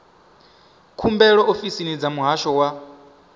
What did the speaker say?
khumbelo ofisini dza muhasho wa